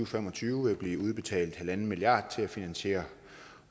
fem og tyve vil blive udbetalt en milliard til finansiering af